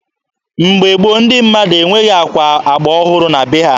Mgbe gboo, ndi mmadụ enweghi akwa agba ọhụrụ na be ha.